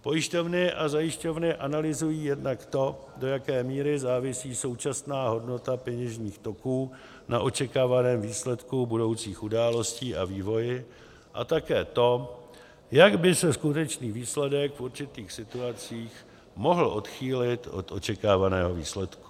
Pojišťovny a zajišťovny analyzují jednak to, do jaké míry závisí současná hodnota peněžních toků na očekávaném výsledku budoucích událostí a vývoji, a také to, jak by se skutečný výsledek v určitých situacích mohl odchýlit od očekávaného výsledku.